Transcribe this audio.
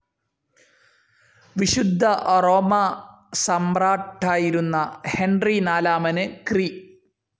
വിശുദ്ധ റോമാസമ്രാട്ടായിരുന്ന ഹെൻറി നാലാമന് ക്രി.